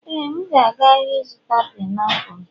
éè, m ga-aga ahịa ịzụta painiapulu